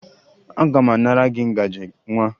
Aga m anara gị ngaji nwa